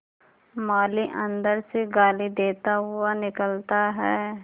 माली अंदर से गाली देता हुआ निकलता है